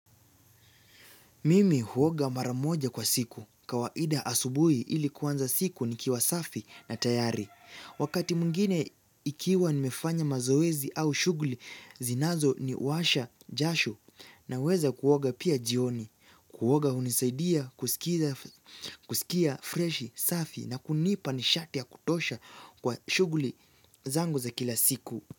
Mimi huoga maramoja kwa siku, kawaida asubui ilikuwanza siku ni kiwa safi na tayari. Wakati mungine ikiwa nimefanya mazoezi au shuguli, zinazo ni washa jashu na weza kuoga pia jioni, kuoga unisaidia, kusikia freshi, safi na kunipa nishatia kutosha kwa shuguli zangu za kila siku.